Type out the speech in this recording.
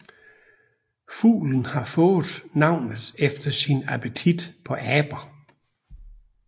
Fuglen har fået navnet efter sin appetit på aber